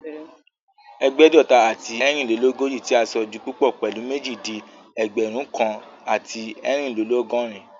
Ẹ̀gbẹ́dọ̀ta àti ẹ́ẹ̀rínlélógòjì tí a sọ di púpọ̀ pèlú méjì di Ẹgbẹ̀rún kan àti ẹ́ẹ̀rínlélọ́gọ́rin